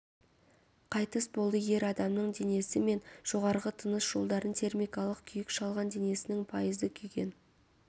қайтыс болды ер адамның денесі мен жоғарғы тыныс жолдарын термикалық күйік шалған денесінің пайызы күйген